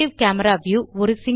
active camera view